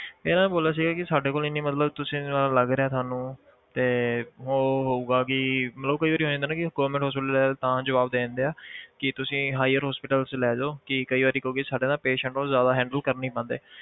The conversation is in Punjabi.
ਇਹਨਾਂ ਨੇ ਬੋਲਿਆ ਸੀਗਾ ਕਿ ਸਾਡੇ ਕੋਲ ਇੰਨੀ ਮਤਲਬ ਤੁਸੀਂ ਲੱਗ ਰਿਹਾ ਸਾਨੂੰ ਤੇ ਉਹ ਹੋਊਗਾ ਕਿ ਮਤਲਬ ਕਈ ਵਾਰੀ ਹੋ ਜਾਂਦਾ ਨਾ ਕਿ government hospital ਲੈ ਜਾਓ ਤਾਂ ਜਵਾਬ ਦੇ ਦਿੰਦੇ ਆ ਕਿ ਤੁਸੀਂ higher hospital 'ਚ ਲੈ ਜਾਓ ਕਿ ਕਈ ਵਾਰੀ ਕਿਉਂਕਿ ਸਾਡੇ ਨਾ patient ਨੂੰ ਜ਼ਿਆਦਾ handle ਕਰ ਨੀ ਪਾਉਂਦੇ